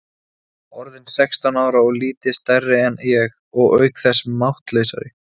Orðinn sextán ára og lítið stærri en ég, og auk þess máttlausari.